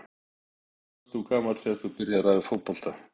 Nei Hvað varstu gamall þegar þú byrjaði að æfa fótbolta?